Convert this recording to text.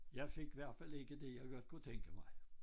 Jeg fik hvert fald ikke det jeg godt kunne tænke mig